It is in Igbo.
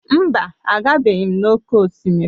Mba, agabeghị m n'oké osimiri.